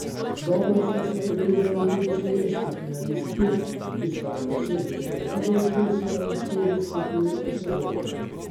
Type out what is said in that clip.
Dobro sta se odrezali tudi slovenski finalistki, ki sta dosegli svoji najboljši slalomski uvrstitvi v sezoni.